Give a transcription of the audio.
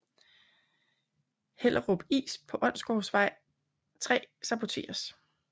Hellerup Is på Onsgårdsvej 3 saboteres